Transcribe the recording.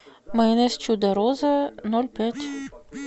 майонез чудо роза ноль пять